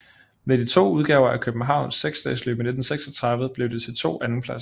Ved de to udgaver af Københavns seksdagesløb i 1936 blev det til to andenpladser